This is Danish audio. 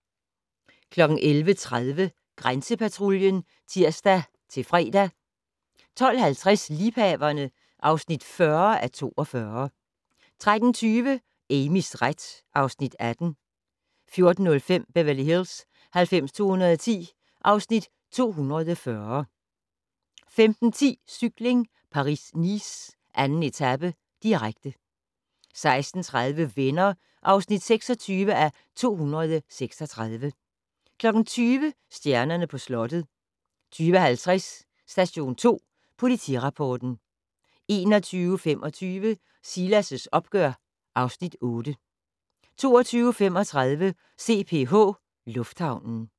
11:30: Grænsepatruljen (tir-fre) 12:50: Liebhaverne (40:42) 13:20: Amys ret (Afs. 18) 14:05: Beverly Hills 90210 (Afs. 240) 15:10: Cykling: Paris-Nice - 2. etape, direkte 16:30: Venner (26:236) 20:00: Stjernerne på slottet 20:50: Station 2 Politirapporten 21:25: Silas' opgør (Afs. 8) 22:35: CPH Lufthavnen